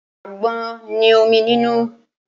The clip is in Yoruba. Àgbọn ní omi nínú.